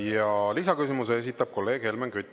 Ja lisaküsimuse esitab kolleeg Helmen Kütt.